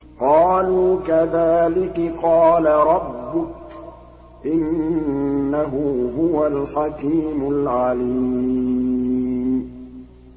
قَالُوا كَذَٰلِكِ قَالَ رَبُّكِ ۖ إِنَّهُ هُوَ الْحَكِيمُ الْعَلِيمُ